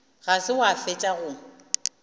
ga se wa fetša go